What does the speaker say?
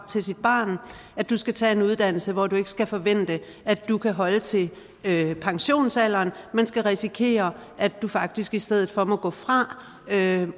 til sit barn du skal tage en uddannelse hvor du ikke skal forvente at du kan holde til pensionsalderen men skal risikere at du faktisk i stedet for må gå fra